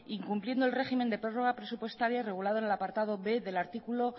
incumpliendo en régimen de prórroga presupuestaria regulado en el apartado b del artículo